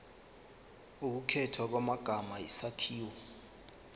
ukukhethwa kwamagama isakhiwo